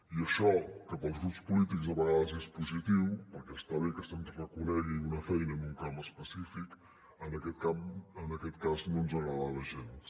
i això que per als grups polítics a vegades és positiu perquè està bé que se’ns reconegui una feina en un camp específic en aquest cas no ens agradava gens